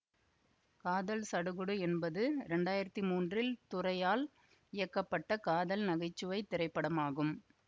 காதல் சடுகுடு என்பது இரண்டாயிரத்தி மூன்றில் துரையால் இயக்கப்பட்ட காதல் நகைச்சுவை திரைப்படமாகும்